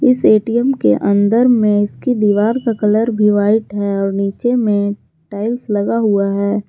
इस ए_टीए_म के अंदर में इसकी दीवार का कलर भी वाइट है और नीचे में टाइल्स लगा हुआ है।